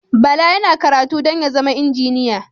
Bala yana karatu don ya zama injiniya